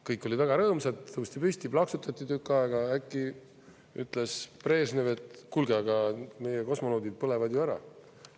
Kõik olid väga rõõmsad, tõusti püsti, plaksutati tükk aega, äkki ütles Brežnev, et kuulge, aga meie kosmonaudid põlevad ju ära.